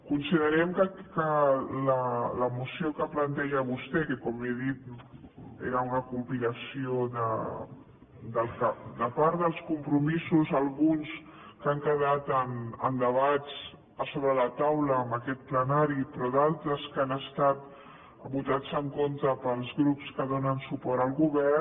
considerem que la moció que planteja vostè que com he dit era una compilació de part dels compromisos alguns que han quedat en debats a sobre la taula en aquest plenari però d’altres que han estat votats en contra pels grups que donen suport al govern